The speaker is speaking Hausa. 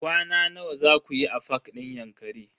Kwana nawa zaku yi a fak din Yankari?